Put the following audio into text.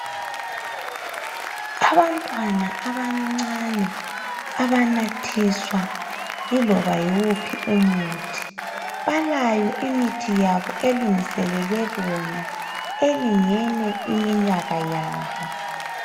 Abantwana abancane abanathiswa yiloba yiwuphi umuthi, balayo imithi elungiselelwe bona elingene iminyaka yabo.